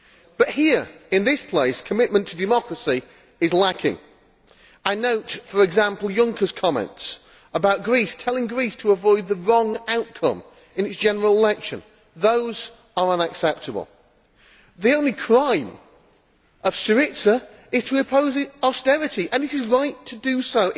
But here in this place, commitment to democracy is lacking. I note, for example, Juncker's comments about Greece, telling Greece to avoid the wrong outcome' in its general election. Those are unacceptable. The only crime of Syriza is to oppose austerity, and it is right to do so.